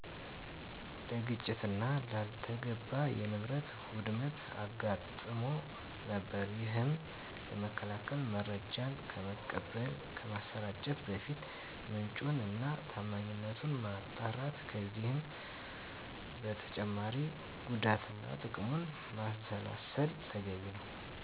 ለግጭትና ላልተገባ የንብረት ውድመት አጋጥሞ ነበር። ይሄንንም ለመከላከል መረጃን ከመቀበል፣ ከማሰራጨት በፊት ምንጩን እና ታማኝነቱን ማጣራት ከዚህም በተጨማሪ ጉዳትና ትቅሙን ማንሰላሰል ተገቢ ነው።